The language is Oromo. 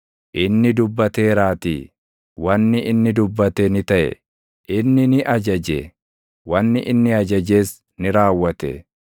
Inni dubbateeraatii, wanni inni dubbate ni taʼe; inni ni ajaje; wanni inni ajajes ni raawwate.